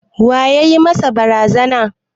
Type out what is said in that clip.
Wa ya yi masa barazana?